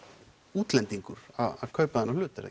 útlendingur að kaupa þennan hlut er